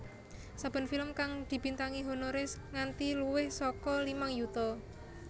Saben film kang dibintangi honoré nganti luwih saka limang yuta